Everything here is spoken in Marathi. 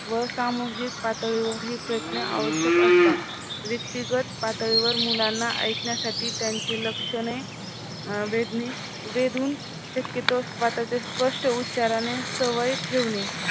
व सामूहिक पातळीवर ही प्रयत्न आवश्यक असतात. व्यक्तिगत पातळीवर मुलांना ऐकण्यासाठी त्यांची लक्षणे अं वेदने वेधून शक्यतो स्वतःच्या स्पष्ट उच्चारणे सवय ठेवणे